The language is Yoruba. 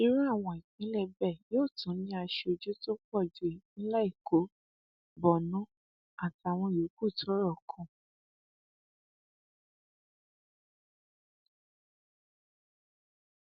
irú àwọn ìpínlẹ bẹẹ yóò tún ní aṣojú tó pọ ju ìpínlẹ èkó borno àtàwọn yòókù tọrọ kàn